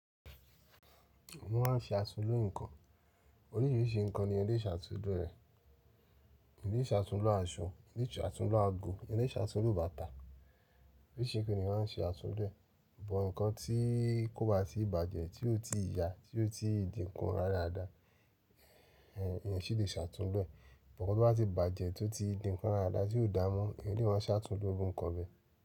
Wọ́n má ń ṣe àtúnlo nǹkan. Oríṣìíríṣìí nǹkan ni ẹ̀èyàn lè ṣe àtúnlo rẹ̀. Èèyàn lè ṣe àtúnlo aṣọ, èèyàn lè ṣe àtúnlo ago, èèyàn lè ṣe àtúnlo bàtà. Oríṣìí nǹkan ni èèyàn máa ń ṣe àtúnlo ẹ̀. Bó nǹkan tí kòbá tì bàjẹ́, tí ó ti ya, tí ó ti dínkù rárá dáadáa, ẹ̀ ẹ̀èyàn ṣì lè ṣe àtúnlo ẹ̀. Bó nko tó bá ti bàjẹ́, tó ti dí nko radaradá, tí ò dá mọ́, èèyàn lè má ṣe àtúnlo erú nǹkan bẹ́ẹ̀.